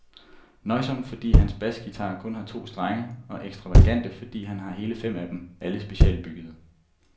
Nøjsom, fordi hans basguitarer kun har to strenge, og ekstravagant, fordi han har hele fem af dem, alle specialbyggede.